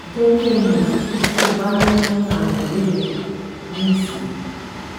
Jẹ ki n mọ ti o ba ni awọn ibeere mi si